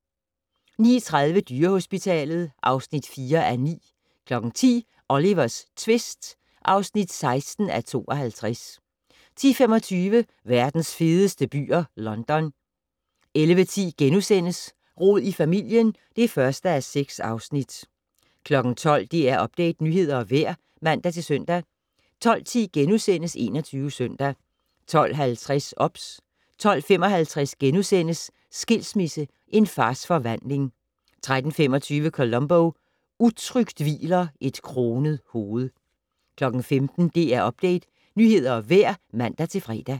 09:30: Dyrehospitalet (4:9) 10:00: Olivers tvist (16:52) 10:25: Verdens fedeste byer - London 11:10: Rod i familien (1:6)* 12:00: DR Update - nyheder og vejr (man-søn) 12:10: 21 Søndag * 12:50: OBS 12:55: Skilsmisse - En fars forvandling * 13:25: Columbo: Utrygt hviler et kronet hoved 15:00: DR Update - nyheder og vejr (man-fre)